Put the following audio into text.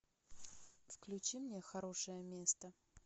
включи мне хорошее место